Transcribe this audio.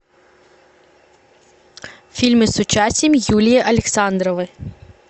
фильмы с участием юлии александровой